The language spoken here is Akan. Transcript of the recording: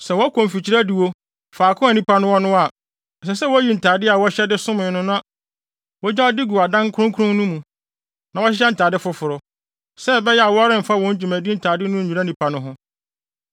Sɛ wɔkɔ mfikyiri adiwo, faako a nnipa no wɔ no a, ɛsɛ sɛ woyi ntade a wɔhyɛ de somee no na wogyaw de gu adan kronkron no mu, na wɔhyehyɛ ntade foforo, sɛ ɛbɛyɛ a wɔremfa wɔn dwumadi ntade no nnwira nnipa no ho.